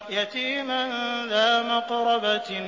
يَتِيمًا ذَا مَقْرَبَةٍ